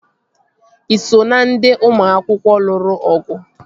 Ị so na ndị ụmụ akwụkwọ lụrụ ọgụ?